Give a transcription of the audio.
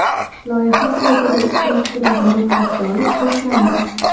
Loyiha saytida ishtirokchilarni ro‘yxatga olish boshlandi.